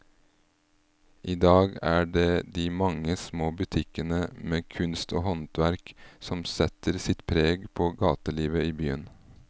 I dag er det de mange små butikkene med kunst og håndverk som setter sitt preg på gatelivet i byen.